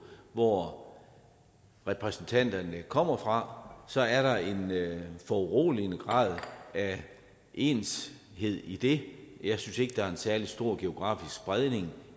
hvor repræsentanterne kommer fra så er der en foruroligende grad af enshed i det jeg synes ikke der er en særlig stor geografisk spredning